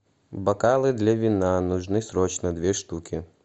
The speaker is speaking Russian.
бокалы для вина нужны срочно две штуки